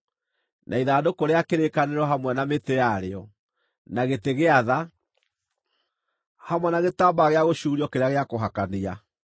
na ithandũkũ rĩa kĩrĩkanĩro hamwe na mĩtĩ yarĩo, na gĩtĩ gĩa tha, hamwe na gĩtambaya gĩa gũcuurio kĩrĩa gĩa kũhakania;